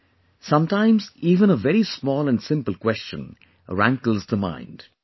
Friends, sometimes even a very small and simple question rankles the mind